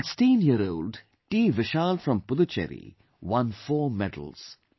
16 year old TVishal from Puducherry won 4 medals